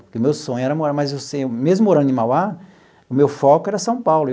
Porque o meu sonho era morar, mas assim mesmo morando em Mauá, o meu foco era São Paulo.